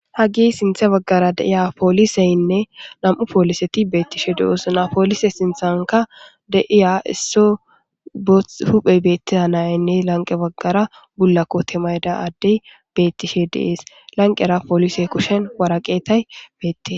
Hageyi sinthan baggara deiya poliseyinne namu poliseti betishshe deosoona ha poliseti sinththanikka deiya isso bothi hupheyi betiya naane laniqeni bagara bula mayida adeyi betishshe deesi